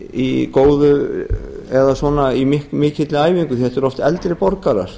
í góðri eða mikilli æfingu því að þetta eru oft eldri borgarar